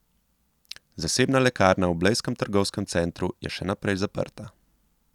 Zasebna lekarna v blejskem trgovskem centru je še naprej zaprta.